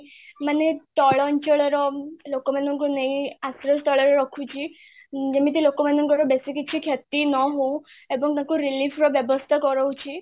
ମାନେ ତଳଅଞ୍ଚଳର ଲୋକ ମାନଙ୍କୁ ନେଇ ତଳେ ରଖୁଛି ଯେମିତି ଲୋକମନଙ୍କର ବେଶୀ କିଛି କ୍ଷତି ନହଉ ଏବଂ ତାଙ୍କୁ relief ର ବ୍ୟବସ୍ତା କରୋଉଛି